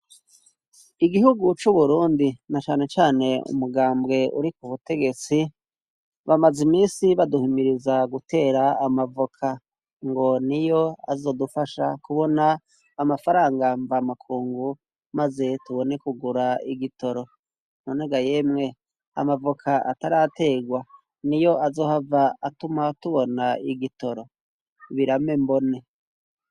Igihugu c'uburundi na canecane umugambwe uri k'ubutegetsi bamaze imisi baduhimiriza gutera amavoka ngo niyo azodufasha kubona amafaranga mvamakungu maze tubone kugura igitoro. None ga yemwe amavoka atarategwa niyo azohava atuma tubona igitoro, biramembone.